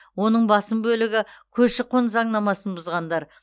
оның басым бөлігі көші қон заңнамасын бұзғандар